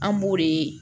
An b'o de